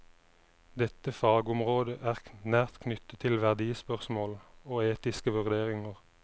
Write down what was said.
Dette fagområdet er nært knyttet til verdispørsmål og etiske vurderinger.